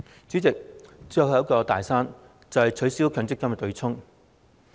主席，最後一座"大山"便是取消強積金對沖。